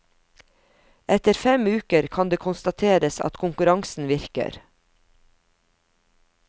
Etter fem uker kan det konstateres at konkurransen virker.